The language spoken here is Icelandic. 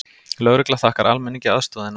Lögregla þakkar almenningi aðstoðina